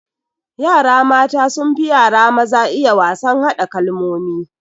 Yara mata sunfi yara maza iya wasan hada kalmomi